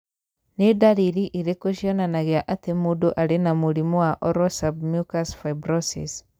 Nĩ ndariri irĩkũ cionanagia atĩ mũndũ arĩ na mũrimũ wa Oral submucous fibrosis?